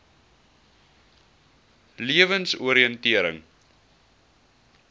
lewensoriëntering